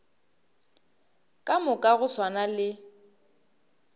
ka moka go swana le